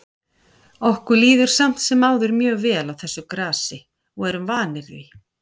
Okkur líður samt sem áður mjög vel á þessu grasi og erum vanir því.